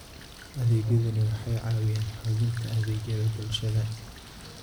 Adeegyadani waxay caawiyaan xoojinta adeegyada bulshada.